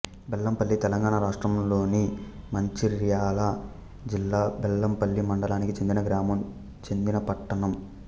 బెల్లంపల్లి తెలంగాణ రాష్ట్రములోని మంచిర్యాల జిల్లా బెల్లంపల్లి మండలానికి చెందిన గ్రామం చెందిన పట్టణం